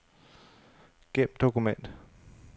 Gem dokument.